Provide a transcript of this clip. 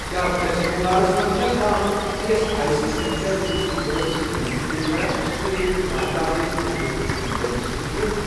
کیٛاہ ویٚسٹ بنٛگالس مَنٛز چھا کانٛہہ E S I C centre یُس ایٚمبولیٚنس خدمت چھُ پیش کران تہٕ چھُکھ برٛانٛچ آفِس تِہنٛدِ سینٹر قٕسمٕکۍ پٲٹھۍ؟